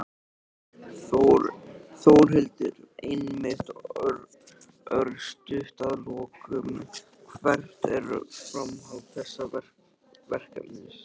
Þórhildur: Einmitt, örstutt að lokum, hvert er framhald þessa verkefnis?